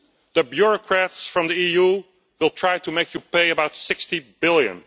The bureaucrats from the EU will try to make you pay about EUR 60 billion.